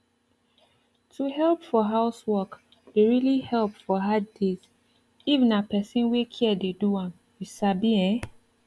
to help for housework dey really help for hard days if na person wey care dey do am you sabi ehn